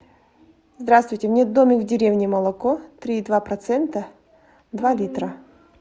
здравствуйте мне домик в деревне молоко три и два процента два литра